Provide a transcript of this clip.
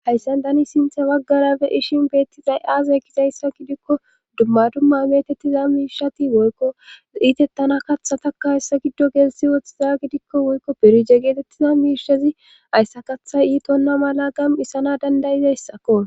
hayssan tani sinthe baggara be'ishin beettizay aaze gizayssa gidikko dumma dumma metettiza miishati woykko iitettana katha takka hayssa giddo geelsi woththiza gidikko woykko berije geetettiza miishezi hayssa katha iitonna mala gam isana dandayizayssakko